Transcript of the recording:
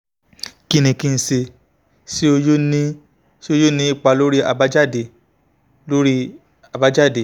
kin ki nse? ṣe o yoo ṣe o yoo ni ipa lori abajade? lori abajade?